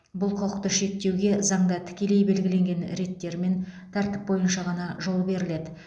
бұл құқықты шектеуге заңда тікелей белгіленген реттер мен тәртіп бойынша ғана жол беріледі